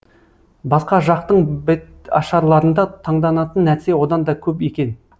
басқа жақтың беташарларында таңданатын нәрсе одан да көп екен